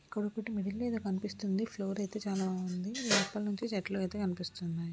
ఇక్కడొకటి middle లో ఏదో కనిపిస్తుంది. ఫ్లోర్ అయితే చాలా లోపలి నుండి చెట్లు అయితే కనిపిస్తున్నాయి.